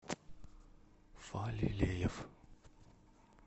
фалилеев